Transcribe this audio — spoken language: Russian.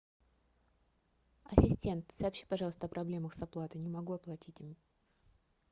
ассистент сообщи пожалуйста о проблемах с оплатой не могу оплатить